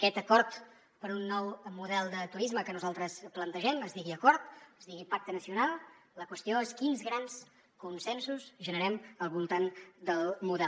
aquest acord per a un nou model de turisme que nosaltres plantegem es digui acord es digui pacte nacional la qüestió és quins grans consensos generem al voltant del model